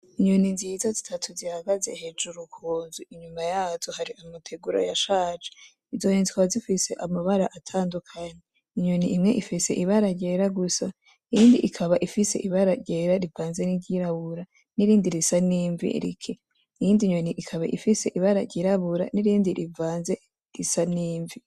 Inyoni nziza zitatu zihagaze hejuru kunzu inyuma yazo hari imitegura yashaje, izo nyoni zikaba zifise amabara atandukanye :inyoni imwe ifise ibara ryera gusa, iyindi ikaba ifise ibara ryera rivanze n'iryabura n'irindi risa n'imvi rike iyindi nyoni ikaba ifise ibara ry'irabura n'irindi rivanze risa n'imvi.